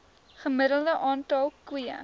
gemiddelde aantal koeie